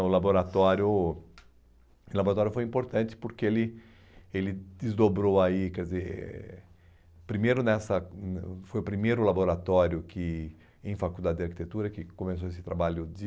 O laboratório o laboratório foi importante porque ele ele desdobrou aí, quer dizer... Primeiro nessa, hum foi o primeiro laboratório que em faculdade de arquitetura que começou esse trabalho de...